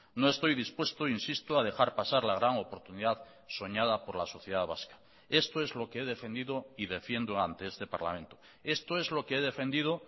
no estoy dispuesto insisto a dejar pasar la gran oportunidad soñada por la sociedad vasca esto es lo que he defendido y defiendo ante este parlamento esto es lo que he defendido